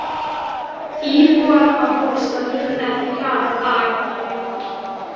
Íbúar á Bólstað líta ekki glaðan dag þennan vetur.